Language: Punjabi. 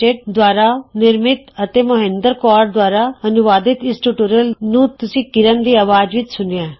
ਐੱਲਟੀਡੀ ਦੁਆਰਾ ਨਿਰਮਤ ਅਤੇ ਮੌਹਿੰਦਰ ਕੌਰ ਦੁਆਰਾ ਅਨੁਵਾਦਿਤ ਇਸ ਟਯੂਟੋਰਿਅਲ ਨੂੰ ਤੁਸੀ ਕਿਰਣ ਦੀ ਅਵਾਜ਼ ਵਿੱਚ ਸੁਣਿਆ